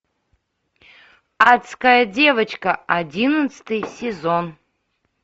адская девочка одиннадцатый сезон